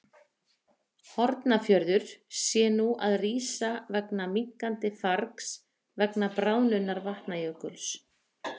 Hornafjörður, sé nú að rísa vegna minnkandi fargs vegna bráðnunar Vatnajökuls.